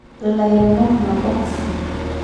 ill`airemok nabok kata